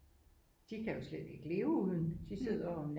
De kan jo slet ikke leve uden de sidder jo